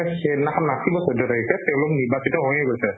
মানে সেইদিনাখন নাচিব চৈধ্য় তাৰিখে তেওঁলোক নিৰ্বাচিত হৈয়ে গৈছে।